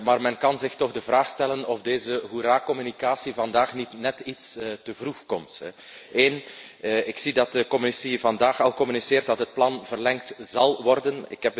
Maar men kan zich toch de vraag stellen of deze hoera communicatie vandaag niet net iets te vroeg komt. Ten eerste merk ik dat de Commissie vandaag al meedeelt dat het plan verlengd zal worden.